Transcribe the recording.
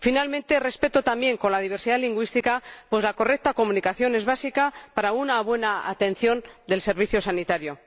Finalmente, respeto también de la diversidad lingüística, pues la correcta comunicación es básica para una buena atención del servicio sanitario.